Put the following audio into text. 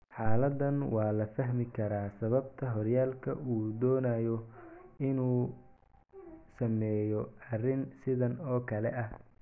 Xaaladdan, waa la fahmi karaa sababta horyaalka uu u doonayo inuu sameeyo arrin sidan oo kale ah.